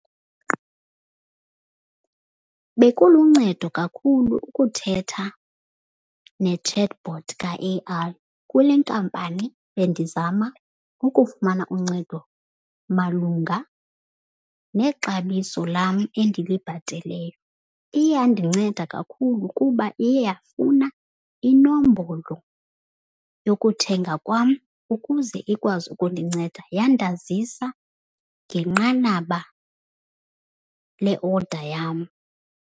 Bekuluncedo kakhulu ukuthetha ne-chatbot ka-A_I kule nkampani bendizama ukufumana uncedo malunga nexabiso lam endilibhateleyo. Iye yandinceda kakhulu kuba iye yafuna inombolo yokuthenga kwam ukuze ikwazi ukundinceda. Yandazisa ngenqanaba le-order yam.